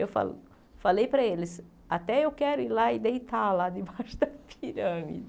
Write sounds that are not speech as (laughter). Eu fale falei para eles, até eu quero ir lá e deitar lá debaixo (laughs) da pirâmide.